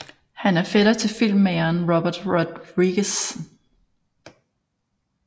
Han er fætter til filmmageren Robert Rodriguez